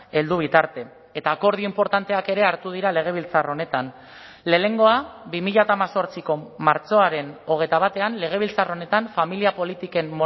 heldu bitarte eta akordio inportanteak ere hartu dira legebiltzar honetan lehenengoa bi mila hemezortziko martxoaren hogeita batean legebiltzar honetan familia politiken